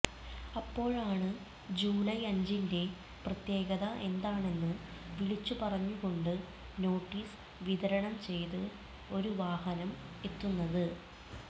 അപ്പോഴാണ് ജൂലൈ അഞ്ചിന്റെ പ്രത്യേകത എന്താണെന്ന് വിളിച്ചുപറഞ്ഞുകൊണ്ട് നോട്ടീസ് വിതരണം ചെയ്ത് ഒരു വാഹനം എത്തുന്നത്